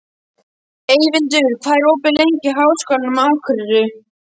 Eyvindur, hvað er opið lengi í Háskólanum á Akureyri?